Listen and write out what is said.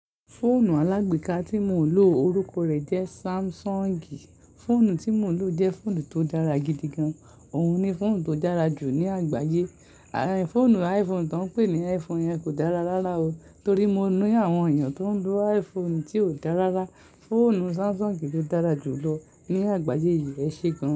Fóònù alágbèéká tí mo ń lò orúkọ rẹ̀ jẹ́ Samsung. Fóònù tí mo ń lò jẹ́ fóònù tó dára gidi gan. Òun ni fóònù tó dára jù ní àgbáyé. Fóònù iPhone tó ń pè ní iPhone yẹn kò dára rárá o. Torí mo ni àwọn èèyàn tó ń lo iPhone tí kò dára rárá. Fóònù Samsung ló dára jù lọ ní àgbáyé yìí ẹ ṣe gan.